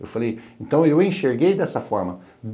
Eu falei, então eu enxerguei dessa forma.